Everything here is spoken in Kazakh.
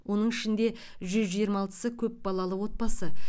оның ішінде жүз жиырма алтысы көп балалы отбасы